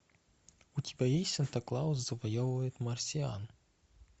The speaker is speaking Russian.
у тебя есть санта клаус завоевывает марсиан